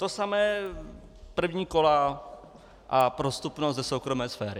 To samé první kola a prostupnost ze soukromé sféry.